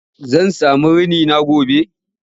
Zan sami rini na gobe?